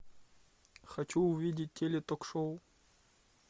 хочу увидеть теле ток шоу